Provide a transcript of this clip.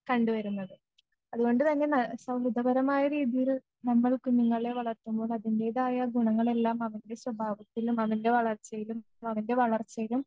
കണ്ടുവരുന്നത്‌ അതുകൊണ്ട് തന്നെ ന സൗ മിതപരമായ രീതിയിൽ നമ്മൾ കുഞ്ഞുങ്ങളെ വളർത്തുമ്പോൾ അതിൻ്റെതായ ഗുണങ്ങളെല്ലാം അവൻ്റെ സ്വഭാവത്തിലും അവൻ്റെ വളർച്ചയിലും അവൻ്റെ വളർച്ചയിലും